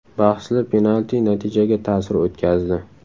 Bahsli penalti natijaga ta’sir o‘tkazdi”.